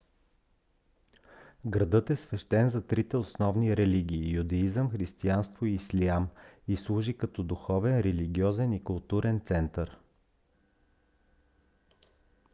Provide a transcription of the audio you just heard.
градът е свещен за трите основни религии - юдеизъм християнство и ислям и служи като духовен религиозен и културен център